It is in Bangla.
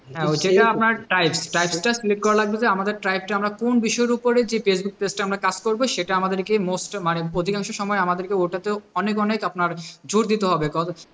আমাদের আমরা কোন বিষয়ের উপরে ফেসবুক page টা আমরা কাজ করব সেটা আমাদের কে most মানে অধিকাংশ সময় আমাদেরকে ওটাতেও অনেক অনেক আপনার জোর দিতে হবে,